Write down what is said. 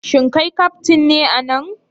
Shin kai kaftin ne a nan?